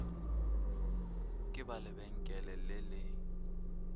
ka ba lebenkele le le